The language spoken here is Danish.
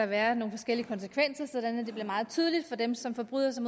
være nogle forskellige konsekvenser så det bliver meget tydeligt for dem som forbryder sig